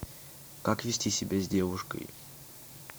как вести себя с девушкой